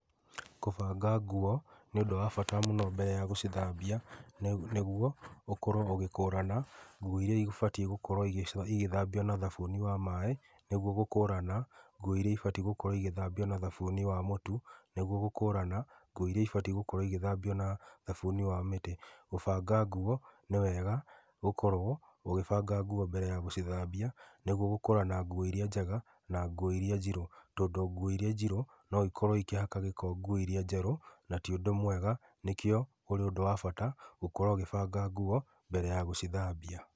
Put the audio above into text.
Kũbanga nguo nĩ ũndũ wa bata mũno mbere ya gũcithambia ,nĩguo ũkorwo ũgĩkũrana nguo iria ĩbatie gũkorwo igĩthambio na thabuni wa maaĩ, nĩguo gũkũrana nguo iria ibatie gũkorwo ĩgĩthambio na thabuni wa mũtu, nĩguo gũkũrana nguo iria ibatiĩ gũkorwo igĩthambio na thabuni wa mĩtĩ. Kubanga nguo nĩ wega gũkorwo ũgĩbanga nguo mbere ya gũcithambia nĩguo gũkũrana nguo iria njega na nguo iria njirũ tondũ nguo iria njirũ no ikorwo ikĩhaka gĩko nguo iria njerũ na ti ũndũ mwega na nĩkĩo ũrĩ ũndũ wa bata gũkorwo ũkĩbanga nguo mbere ya gũcithambia.